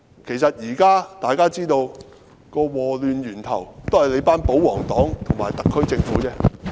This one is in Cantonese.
其實，大家現在都知道禍亂源頭是保皇黨和特區政府。